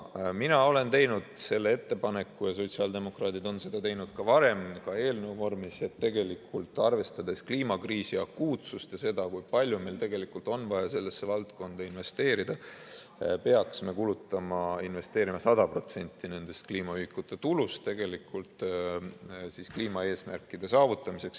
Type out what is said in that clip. Mina olen teinud selle ettepaneku ja sotsiaaldemokraadid on seda teinud ka varem, ka eelnõu vormis, et arvestades kliimakriisi akuutsust ja seda, kui palju meil tegelikult on vaja sellesse valdkonda investeerida, peaks me investeerima 100% nende kliimaühikute tulust kliimaeesmärkide saavutamiseks.